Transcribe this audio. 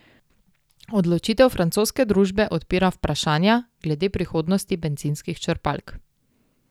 Odločitev francoske družbe odpira vprašanja glede prihodnosti bencinskih črpalk.